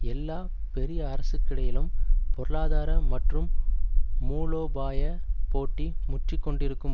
எல்லா பெரிய அரசுக்கிடையிலும் பொருளாதார மற்றும் மூலோபாய போட்டி முற்றிக்கொண்டிருக்கும்